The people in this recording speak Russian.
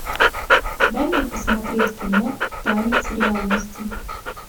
дай мне посмотреть кино танец реальности